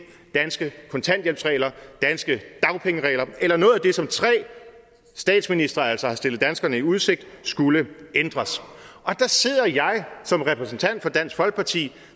danske kontanthjælpsregler danske dagpengeregler eller noget af det som tre statsministre altså har stillet danskerne i udsigt skulle ændres og der sidder jeg som repræsentant for dansk folkeparti